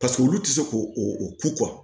Paseke olu tɛ se ko o ko